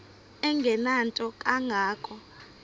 engenanto kanga ko